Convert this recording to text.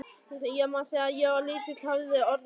Ég man að þegar ég var lítill höfðu orðin lit.